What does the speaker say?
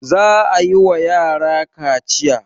Za a yi wa yara kaciya.